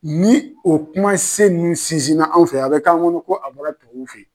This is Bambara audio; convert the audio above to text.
Ni o kumasen ninnu sinzinna anw fɛ yan a bɛ k'an kɔnɔ ko a bɔra tubabuw fɛ ye.